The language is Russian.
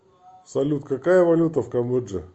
салют какая валюта в камбодже